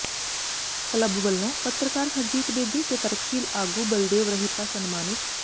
club ਵੱਲੋਂ ਪੱਤਰਕਾਰ ਹਰਜੀਤ ਬੇਦੀ ਤੇ ਤਰਕਸ਼ੀਲ ਆਗੂ ਬਲਦੇਵ ਰਹਿਪਾ ਸਨਮਾਨਿਤ